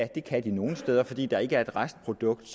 det kan de nogle steder fordi der ikke er et restprodukt